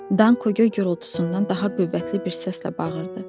Danqo göy gürultusundan daha qüvvətli bir səslə bağırdı: